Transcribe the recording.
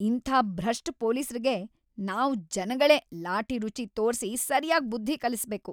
ಇಂಥ ಭ್ರಷ್ಟ ಪೊಲೀಸ್ರಿಗೆ ನಾವ್‌ ಜನಗಳೇ ಲಾಠಿ ರುಚಿ ತೋರ್ಸಿ ಸರ್ಯಾಗ್ ಬುದ್ಧಿ‌ ಕಲಿಸ್ಬೇಕು.